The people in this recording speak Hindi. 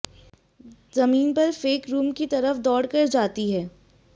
जमीन पर फेख रुम कि तरफ दोड कर जाती है